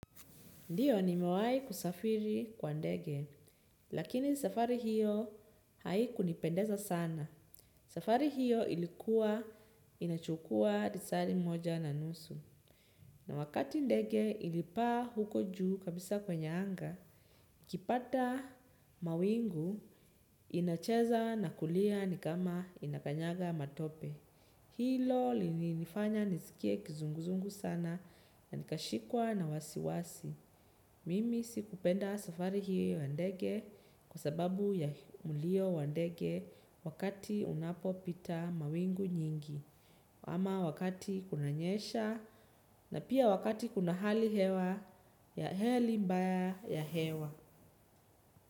Ndio, nimewahi kusafiri kwa ndege, lakini safari hiyo haikunipendeza sana. Safari hiyo ilikuwa inachukua lisaa limoja na nusu. Na wakati ndege ilipaa huko juu kabisa kwenye anga, ikipata mawingu inacheza na kulia nikama inakanyaga matope. Hilo lilinifanya nisikie kizunguzungu sana na nikashikwa na wasiwasi. Mimi sikupenda safari hio ya ndege kwa sababu ya mlio wa ndege wakati unapopita mawingu nyingi, ama wakati kunanyesha na pia wakati kuna hali mbaya ya hewa.